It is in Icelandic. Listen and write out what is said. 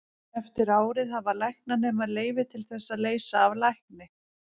eftir árið hafa læknanemar leyfi til þess að leysa af lækni